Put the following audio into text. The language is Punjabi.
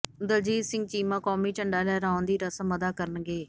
ਦਲਜੀਤ ਸਿੰਘ ਚੀਮਾ ਕੌਮੀ ਝੰਡਾ ਲਹਿਰਾਉਣ ਦੀ ਰਸਮ ਅਦਾ ਕਰਨਗੇ